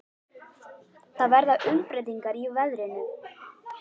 Það verða umbreytingar í veðrinu.